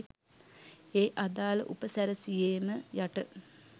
ඒ අදාළ උපසැරසියේම යට